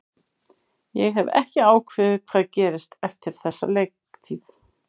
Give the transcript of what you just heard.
Ég hef ekki ákveðið hvað gerist eftir þessa leiktíð.